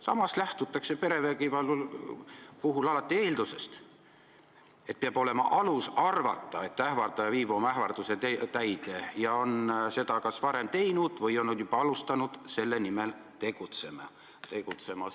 Samas lähtutakse vägivalla puhul eeldusest, et peab olema alus arvata, et ähvardaja viib oma ähvarduse täide, ta on seda kas varem teinud või on juba asunud selle nimel tegutsema.